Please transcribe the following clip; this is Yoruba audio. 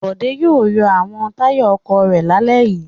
Bòdé yóò yọ àwọn táyà ọkọ̀ rẹ̀ lálẹ́ yìí.